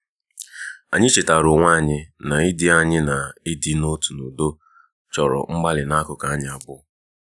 anyị chetaara onwe anyị na ịdị anyị na ịdị n'otu n'udo chọrọ mgbalị n'akụkụ anyi abụọ.